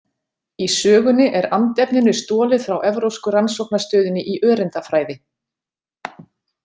Í sögunni er andefninu stolið frá Evrópsku rannsóknastöðinni í öreindafræði.